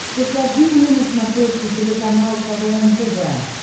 покажи мне на смотрешке телеканал квн тв